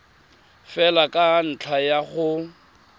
fela ka ntlha ya go